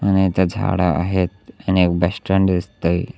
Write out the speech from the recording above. आणि इथं झाड आहेत आणि एक बस स्टॅन्ड दिसतंय.